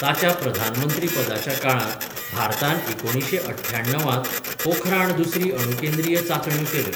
ताच्या प्रधानमंत्रीपदाच्या काळांत भारतान एकुणीशें अठ्याण्णव त पोखराण दुसरी अणुकेंद्रीय चांचण्यो केल्यो.